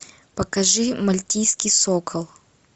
покажи мальтийский сокол